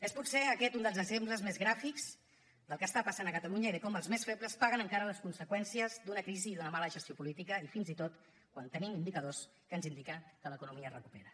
és potser aquest un dels exemples més gràfics del que passa a catalunya i de com els més febles paguen encara les conseqüències d’una crisi i d’una mala gestió política i fins i tot quan tenim indicadors que ens indiquen que l’economia es recupera